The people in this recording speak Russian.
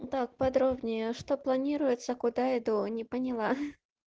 так подробнее что планируется куда и до не поняла